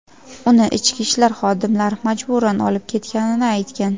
uni ichki ishlar xodimlari majburan olib ketganini aytgan.